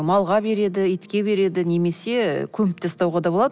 малға береді итке береді немесе көміп тастауға да болады